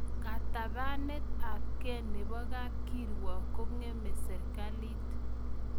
Katabanet ab ge nebo Kapkiruok kong'eme serikalit